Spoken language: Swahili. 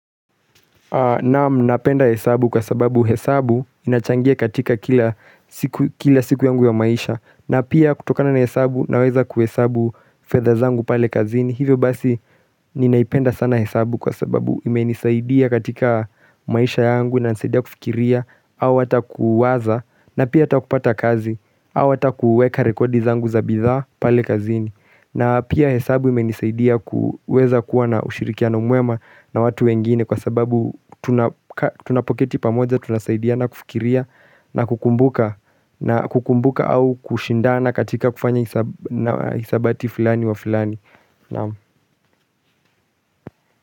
Naam napenda hesabu kwa sababu hesabu inachangia katika kila siku yangu ya maisha na pia kutokana na hesabu na weza kuhesabu fedha zangu pale kazini hivyo basi ninaipenda sana hesabu kwa sababu ime nisaidia katika maisha yangu na inanisaidia kufikiria au ata kuwaza na pia ata kupata kazi au ata kuweka rekodi zangu za bidhaa pale kazini na pia hesabu imenisaidia kuweza kuwa na ushirikiano mwema na watu wengine kwa sababu tunapoketi pamoja tunasaidiana kufikiria na kukumbuka kukumbuka au kushindana katika kufanya hisabati fulani wa fulani.naam